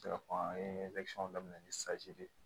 an ye daminɛ ni de ye